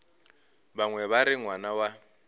bangwe ba re ngwana wa